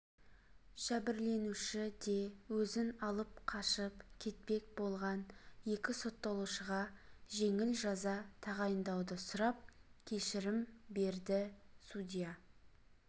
жәбірленуші де өзін алып қашып кетпек болған екі сотталушыға жеңіл жаза тағайындауды сұрап кешірім берді судья